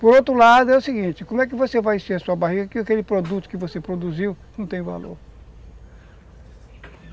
Por outro lado, é o seguinte, como é que você vai encher a sua barriga, se aquele produto que você produziu não tem valor?